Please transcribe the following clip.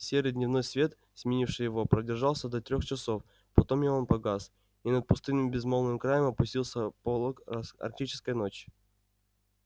серый дневной свет сменивший его продержался до трёх часов потом и он погас и над пустынным безмолвным краем опустился полог арктической ночи